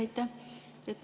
Aitäh!